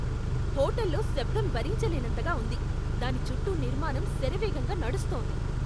హోటల్లో శబ్దం భరించలేనంతగా ఉంది, దాని చుట్టూ నిర్మాణం శరవేగంగా నడుస్తోంది.